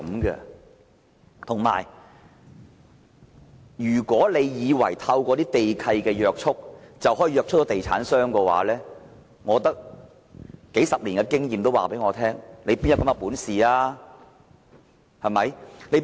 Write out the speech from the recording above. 如果政府以為透過地契便可以約束地產商，數十年經驗告訴我，政府哪有這種本事？